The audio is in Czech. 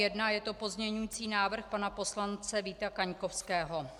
Je to pozměňovací návrh pana poslance Víta Kaňkovského.